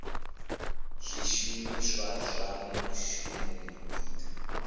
zwishumiswa zwa mushumoni u ita